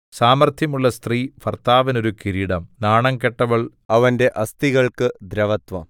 സാമർത്ഥ്യമുള്ള സ്ത്രീ ഭർത്താവിന് ഒരു കിരീടം നാണംകെട്ടവൾ അവന്റെ അസ്ഥികൾക്ക് ദ്രവത്വം